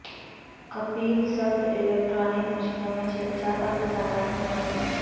Kapil Sibal electronic مشینوں میں چھیڑ چھاڑ اور فسادات میں ملوث